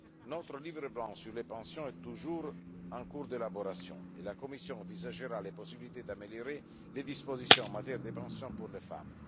Notre livre blanc sur les pensions est toujours en cours d'élaboration et la Commission envisagera les possibilités d'améliorer les dispositions en matière de pension pour les femmes.